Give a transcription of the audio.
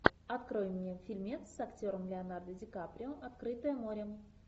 открой мне фильмец с актером леонардо ди каприо открытое море